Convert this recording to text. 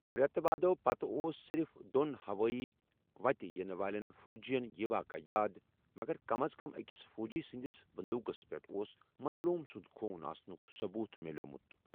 رٮ۪تہٕ وادو پتہٕ اوس صرف دوٚن ہوٲیی وتہِ یِنہٕ والین فوجِین یہِ واقعہٕ یاد، مگر کم از کم أکِس فوجی سٕنٛدِس بندوقَس پٮ۪ٹھ اوس مظلوم سُند خوٗن آسنُك ثبوٗت مِیولمُت ۔